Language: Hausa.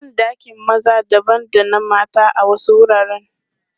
Ban ɗakin maza dabam da na mata a wasu wuraren.